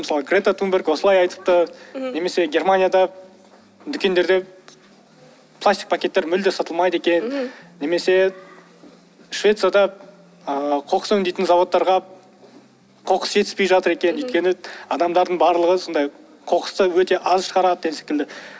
мысалы грета тунберг осылай айтыпты немесе германияда дукендерде пластик пакеттер мүлде сатылмайды екен немесе швецияда ыыы қоқыс өңдейтін зауыттарға қоқыс жетіспей жатыр екен өйткені адамдардың барлығы сондай қоқысты өте аз шығарады деген секілді